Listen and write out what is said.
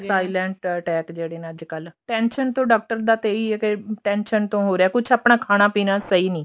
silent attack ਨੇ ਨਾ ਜਿਹੜੇ ਅੱਜਕਲ tension ਤੋਂ doctor ਦਾ ਇਹੀ ਹੈ ਕੇ tension ਤੋਂ ਹੋ ਰਿਹਾ ਕੁਛ ਆਪਣਾ ਖਾਣਾ ਪੀਣਾ ਸਹੀ ਨੀ